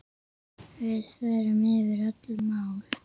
Við förum yfir öll mál.